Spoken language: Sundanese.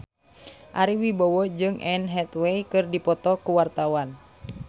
Ari Wibowo jeung Anne Hathaway keur dipoto ku wartawan